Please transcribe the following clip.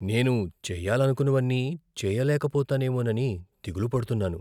నేను చేయాలనుకున్నవన్నీ చేయలేకపోతానేమోనని దిగులుపడుతున్నాను.